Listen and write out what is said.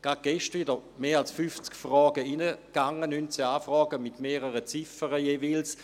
Gerade gestern wieder gingen mehr als 50 Fragen ein, 19 Anfragen mit mehreren Ziffern jeweils.